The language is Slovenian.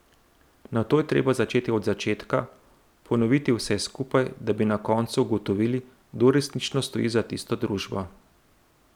Nato je treba začeti od začetka, ponoviti vse skupaj, da bi na koncu ugotovili, kdo resnično stoji za tisto družbo.